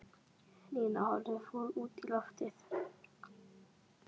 Nína horfði fúl út í loftið.